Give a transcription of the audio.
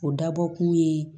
O dabɔkun ye